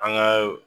An ka